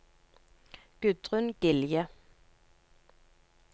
Gudrun Gilje